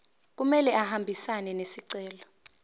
kumele ahambisane nesicelo